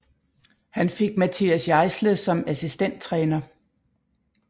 Han fik Matthias Jaissle som assistenttræner